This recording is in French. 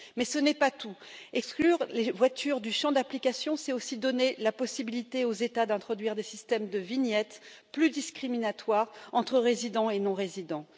Mais ce n'est pas tout, exclure les voitures du champ d'application, c'est aussi donner la possibilité aux États d'introduire des systèmes de vignette plus discriminatoires entre résidents et non résidents.